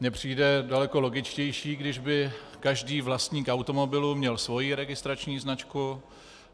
Mně přijde daleko logičtější, když by každý vlastník automobilu měl svoji registrační značku.